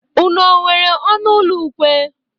Unu o nwere ọnụ ụlọ ukwe?